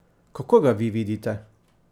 Kako ga vi vidite?